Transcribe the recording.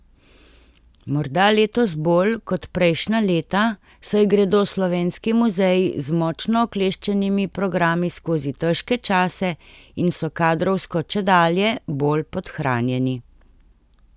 Morda letos bolj kot prejšnja leta, saj gredo slovenski muzeji z močno okleščenimi programi skozi težke čase in so kadrovsko čedalje bolj podhranjeni.